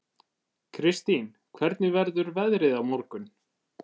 Kirstín, hvernig verður veðrið á morgun?